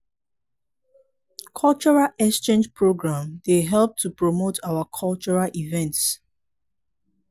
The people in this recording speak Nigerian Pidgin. cultural exchange program dey help to promote our cultural events.